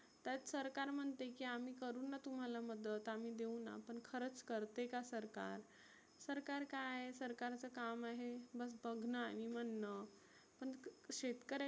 त्यात सरकार म्हणते की आम्ही करुना तुम्हाला मदत आम्ही देऊना पण खरच करतेका सरकार. सरकार काय सरकारच काम आहे बस बघनं आणि म्हणनं. पण शेतकऱ्याची